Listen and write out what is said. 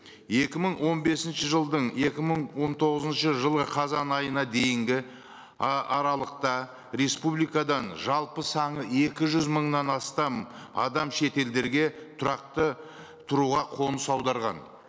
екі мың он бесінші жылдың екі мың он тоғызыншы жылы қазан айына дейінгі аралықта республикадан жалпы саны екі жүз мыңнан астам адам шет елдерге тұрақты тұруға қоныс аударған